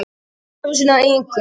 Að grafa sína eigin gröf